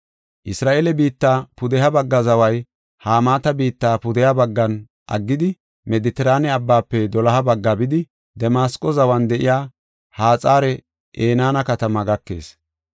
Isra7eele biitta pudeha bagga zaway Hamaata biitta pudeha baggan aggidi, Medetiraane Abbaafe doloha bagga bidi, Damasqo zawan de7iya Haxar-Enaana katamaa gakees.